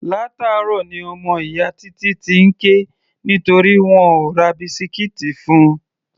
Látàárọ̀ ní ọmọ ìyá Títí ti ń ké nítorí wọn ò ra bisikíìtì fun.